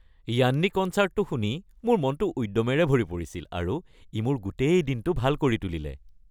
য়ান্নি কনচাৰ্টটো শুনি মোৰ মনটো উদ্যমেৰে ভৰি পৰিছিল আৰু ই মোৰ গোটেই দিনটো ভাল কৰি তুলিলে।